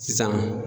Sisan